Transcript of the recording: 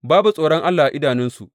Babu tsoron Allah a idanunsu.